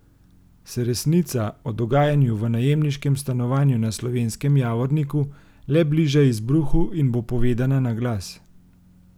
Se resnica o dogajanju v najemniškem stanovanju na Slovenskem Javorniku le bliža izbruhu in bo povedana na glas?